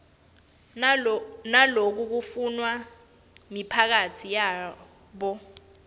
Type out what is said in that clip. nalokufunwa miphakatsi yabo